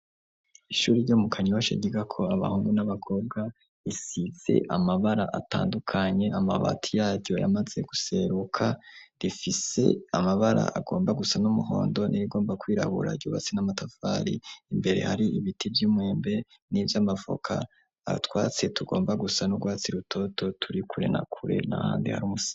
Ishuri ryo mu kanyiwashoagiga ko abahungu n'abagorwa isize amabara atandukanye amabati yaryo yamaze guseruka rifise amabara agomba gusa n'umuhondo n'irigomba kwirahura yubatsi n'amatavari imbere hari ibiti vy'umwembe n'ivyo amavoka abatwatse tugomba gusa n'urwatsirwa toto turi kure na kure na handi hari umusa.